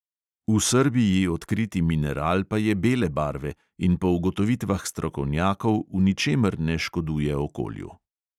V srbiji odkriti mineral pa je bele barve in po ugotovitvah strokovnjakov v ničemer ne škoduje okolju.